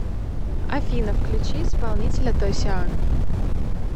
афина включи исполнителя тосян